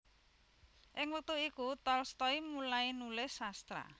Ing wektu iku Tolstoy mulai nulis sastra